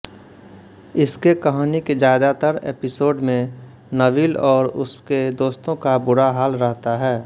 इसके कहानी के ज़्यादातर एपिसोड में नबील और उसके दोस्तों का बुरा हाल रहता है